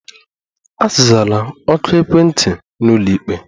Azala oku ekwentị n'ụlọikpe!